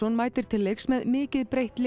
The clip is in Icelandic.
mætir til leiks með mikið breytt lið